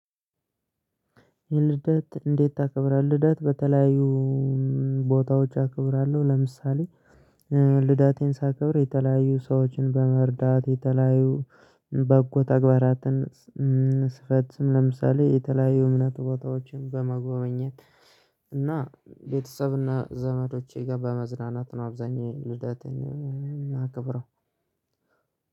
ልደት እንዴት ታከብራለህ? ልደት በተለያዩ ቦታዎች አከብራለሁ ለምሳሌ ልዳቴን ሳከብር የተለያዩ ሰዎችን በመርዳት የተለያዩ በጎ ተግባራትን ስፈጽም ለምሳሌ የተለያዩ እምነት ቦታዎችን በመጎብኘት እና ቤተሰብና ዘመዶቼ ጋር በመዝናናት ነው። አብዛኛው ልደቴን እማከብረው።